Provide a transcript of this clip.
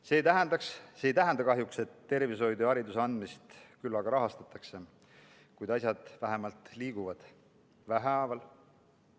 See ei tähenda kahjuks, et tervishoidu ja hariduse andmist küllaga rahastatakse, kuid asjad vähemalt liiguvad, vähehaaval.